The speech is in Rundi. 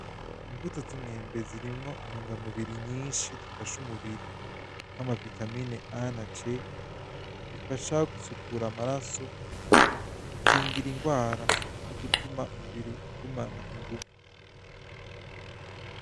Imbuto z'umwembe zirimwo intungamubiri nyinshi zifasha umubiri nama vitamine A na C gifasha gusukura amaraso, gukingira ingwara no gutuma umubiri ugumana inguvu.